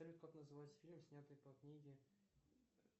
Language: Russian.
салют как называется фильм снятый по книге